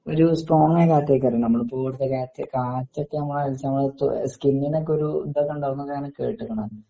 ഒര് സ്ട്രോങ്ങായ കാറ്റൊക്കാരുന്നു നമ്മളിപ്പോ കൂടുതലാട്ട് കാറ്റൊക്കെ നമ്മളെ സമയത്തു സ്ക്കിന്നിനൊക്കൊരു ഇതൊക്കെണ്ടാവുന്നു ഞാന് കേട്ട്ക്കണ്